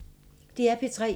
DR P3